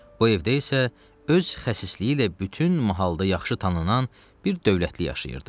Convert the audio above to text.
Bu evdə isə öz xəsisliyi ilə bütün mahallda yaxşı tanınan bir dövlətli yaşayırdı.